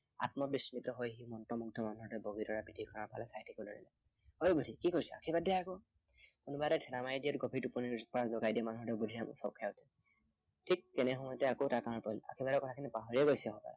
আত্মবিশ্ৰুত হৈ সি মন্ত্ৰমুগ্ধ মানুহৰ দৰে বগীতৰাৰ পিঠিখনৰ ফালে চাই থাকিবলৈ ধৰিলে। অই বুদ্ধি কি কৰিছ, আৰ্শীবাদ দে আক। কোনোবা এটাই ঠেলা মাৰি দিয়াত গভীৰ টোপনিৰ পৰা সাৰ পৰা মানুহৰ দৰে বুদ্ধিৰাম উচপ খাই উঠিল। ঠিক তেনে সময়তে আকৌ তাৰ কাণত পৰিল। আৰ্শীবাদৰ কথাখিনি পাহৰিয়ে গৈছ হপায়।